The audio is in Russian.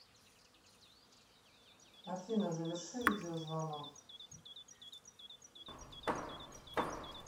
афина заверши видеозвонок